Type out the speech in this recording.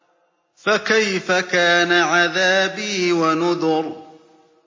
فَكَيْفَ كَانَ عَذَابِي وَنُذُرِ